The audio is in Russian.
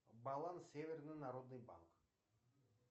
баланс северный народный банк